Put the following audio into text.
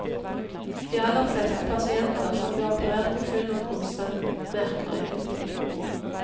De aller fleste pasienter som blir operert i full narkose, merker ingenting.